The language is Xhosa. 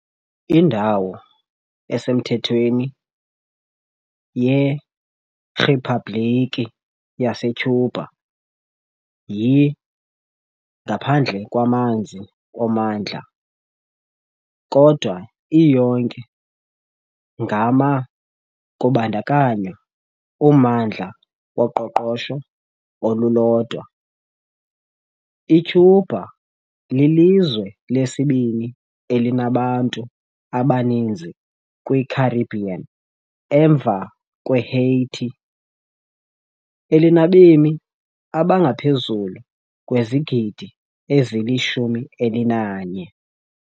Indawo esemthethweni yeRiphabhlikhi yaseCuba yi-ngaphandle kwamanzi ommandla, kodwa iyonke ngama- kubandakanywa ummandla woqoqosho olulodwa. ICuba lilizwe lesibini elinabantu abaninzi kwiCaribbean emva kweHaiti, elinabemi abangaphezu kwezigidi ezili-11.